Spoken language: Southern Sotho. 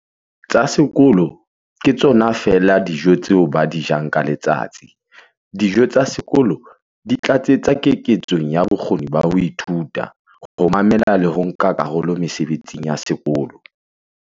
"tsa sekolo ke tsona feela tseo ba di jang ka letsatsi. Dijo tsa sekolo di tlatsetsa keketsong ya bokgoni ba ho ithuta, ho mamela le ho nka karolo mesebetsing ya sekolo".